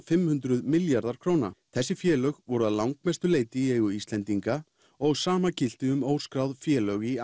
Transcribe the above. fimmtán hundruð milljarðar króna þessi félög voru að langmestu leyti í eigu Íslendinga og sama gilti um óskráð félög í